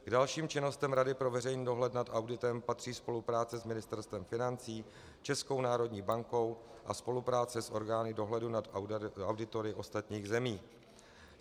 K dalším činnostem Rady pro veřejný dohled nad auditem patří spolupráce s Ministerstvem financí, Českou národní bankou a spolupráce s orgány dohledu nad auditory ostatních zemí.